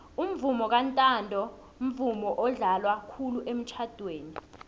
umvomo kantanto mvumo odlalwa khulu emitjhadweni